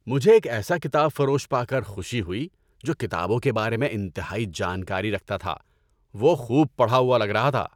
مجھے ایک ایسا کتاب فروش پا کر خوشی ہوئی جو کتابوں کے بارے میں انتہائی جانکاری رکھتا تھا۔ وہ خوب پڑھا ہوا لگ رہا تھا۔